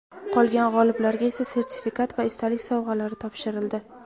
qolgan g‘oliblarga esa sertifikat va esdalik sovg‘alari topshirildi.